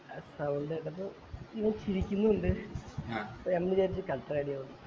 ആ sound കേട്ടപ്പോ ഇങ്ങ ചിരിക്കുന്നു ഇണ്ട് അപ്പൊ ഞാൻ വിചാരിച്ചു കട്ട അടിയാവും ന്ന്